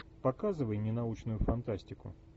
показывай ненаучную фантастику